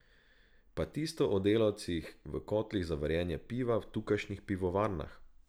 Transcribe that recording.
Pa tisto o delavcih v kotlih za varjenje piva v tukajšnjih pivovarnah?